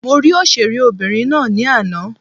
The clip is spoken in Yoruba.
Mo rí òṣèré obìnrin ná ní àná.